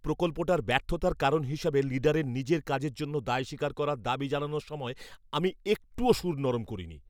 প্রকল্পটার ব্যর্থতার কারণ হিসেবে লিডারের নিজের কাজের জন্য দায় স্বীকার করার দাবি জানানোর সময় আমি একটুও সুর নরম করিনি।